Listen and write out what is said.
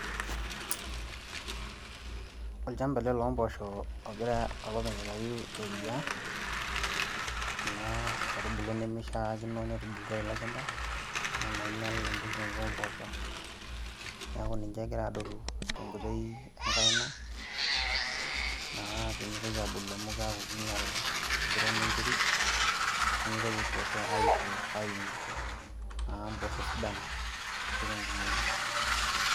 olchamaba ele loomposho logira olopeny aitayu eriaa kuna aitubulu nimishiaakino netubulutwa tele shamba kuna nainyial embulunoto omposho . Niaku ninche egira adoltutenkoitoi enkaina naa pemitoki abulu amu kiaku kinyial empiron enterit nimintoki mpooshonaa aisho aiu impoosho sidan ashu tenkumoi.